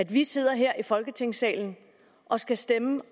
vi sidder her i folketingssalen og skal stemme